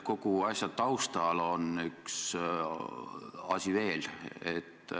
Kogu asja taustal on üks asi veel.